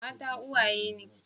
Mata uwaye ne.